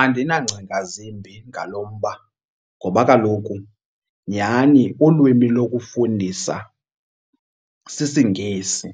Andinangcinga zimbi ngalo mba ngoba kaloku nyhani ulwimi lokufundisa sisiNgesi